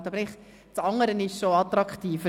Aber der richtige Fisch ist schon attraktiver.